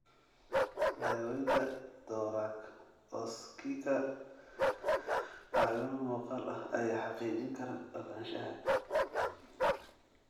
Daawaynta thoracoscika caawimo muuqaal ah ayaa xaqiijin kara ogaanshaha.